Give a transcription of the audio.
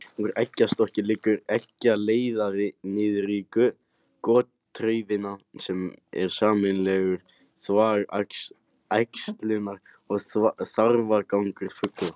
Úr eggjastokki liggur eggjaleiðari niður í gotraufina sem er sameiginlegur þvag, æxlunar- og þarfagangur fugla.